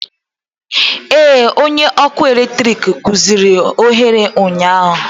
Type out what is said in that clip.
Ee, onye ọkụ eletrik rụziri oghere ụnyaahụ